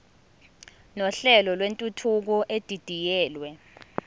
nohlelo lwentuthuko edidiyelwe